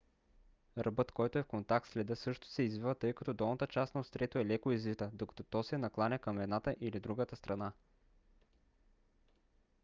ръбът който е в контакт с леда също се извива тъй като долната част на острието е леко извита докато то се накланя към едната или другата страна